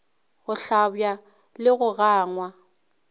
go hlabja le go gangwa